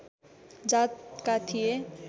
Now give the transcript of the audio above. जातका थिए